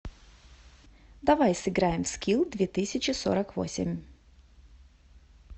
давай сыграем в скил две тысячи сорок восемь